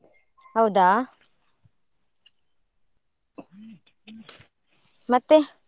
ಹೌದಾ ಮತ್ತೆ?